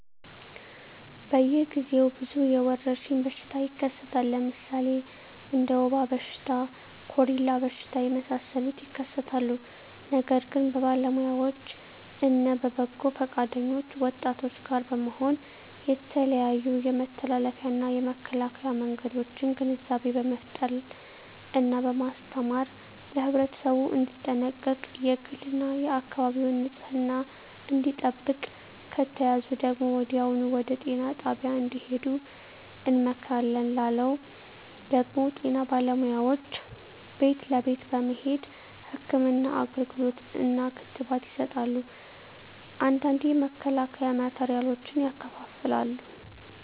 በየ ግዜው ብዙ የወረሽኝ በሽታ ይከሰታል ለምሣሌ እንደ ወባ በሽታ ኮሪላ በሽታ የመሣሠሉት ይከሠታሉ ነገር ግን በባለውያዎች እነ በበጎ ፈቃደኞች ወጣቶች ጋር በመሆን የተለያዮ የመተላለፊያ እና የመከላኪያ መንገዶችን ግንዛቤ በመፍጠር እና በማስተማር ለህብረተሠቡ እንዲጠነቀቅ የግል እና የአካባቢውን ንፅህና እንዲጠብቅ ከተያዙ ደግሞ ወዲያሁኑ ወደጤና ጣቢያ እንድሄዱ እንመክራለን ላለው ደግም ጤና ባለሙያዎች ቤት ለቤት በመሄድ ህክምና አገልግሎት እና ክትባት ይሠጣሉ አንዳንዴ የመከላከያ ማቴሪያሎችን ያከፋፍላሉ